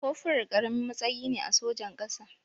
Kofural ƙaramin matsayi ne a sojan ƙasa.